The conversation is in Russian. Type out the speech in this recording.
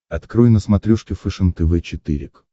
открой на смотрешке фэшен тв четыре к